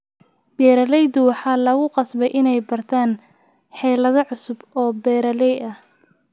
Beeralayda waxaa lagu qasbay inay bartaan xeelado cusub oo beeralay ah.